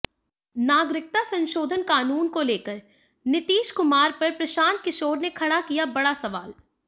नागरिकता संशोधन कानून को लेकर नीतीश कुमार पर प्रशांत किशोर ने खड़ा किया बड़ा सवाल